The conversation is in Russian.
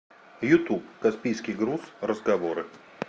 ютуб каспийский груз разговоры